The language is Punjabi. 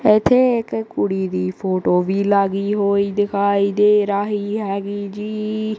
ਇਥੇ ਇਕ ਕੁੜੀ ਦੀ ਫੋਟੋ ਵੀ ਲਾਗੀ ਹੋਈ ਦਿਖਾਈ ਦੇ ਰਹੀ ਹੈਗੀ ਜੀ।